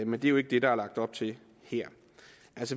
men det er jo ikke det der er lagt op til her